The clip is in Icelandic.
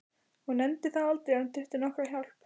Hún nefndi það aldrei að hún þyrfti nokkra hjálp.